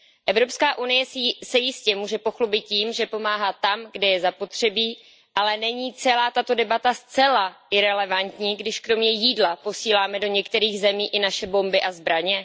Evropská unie se jistě může pochlubit tím, že pomáhá tam, kde je zapotřebí, ale není celá tato debata zcela irelevantní, když kromě jídla posíláme do některých zemí i naše bomby a zbraně?